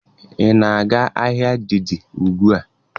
Ị na-aga ahịa Dei Dei ugbua?